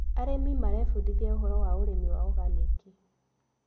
Arĩmi marebundithia ũhoro wa ũrĩmi wa organĩki.